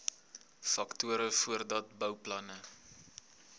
faktore voordat bouplanne